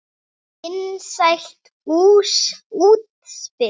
Vinsælt útspil.